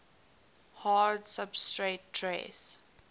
hard substrate trace